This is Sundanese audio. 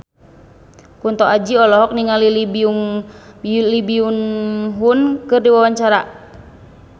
Kunto Aji olohok ningali Lee Byung Hun keur diwawancara